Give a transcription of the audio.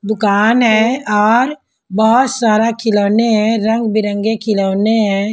दुकान है और बहुत सारा खिलौने हैं रंग बिरंगे खिलौने हैं।